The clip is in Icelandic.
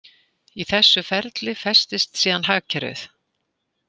Í þessu ferli festist síðan hagkerfið.